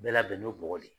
Bɛɛ labɛnnen bɔgɔ de